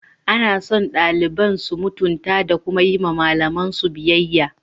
Ana son daliban su mutunta da kuma yi wa malamansu biyayya.